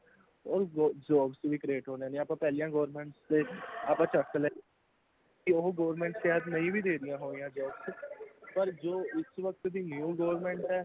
ਉਹ jobs ਵੀ create ਹੋਣੀਆ, ਆਪਾਂ ਪਹਿਲੀਆਂ government ਦੇ (noice ) ਕੇ ਉਹ government ਸ਼ਹੀਦ ਨਹੀਂ ਵੇ ਦੇ ਰਹੀਆਂ ਹੋਣੀਆਂ jobs ਪਰ ਜੋ ਇਸ ਵੱਕਤ ਦੇ new government ਹੈ